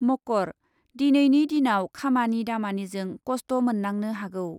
मकर, दिनैनि दिनआव खामानि दामानिजों खस्ट' मोन्नांनो हागौ ।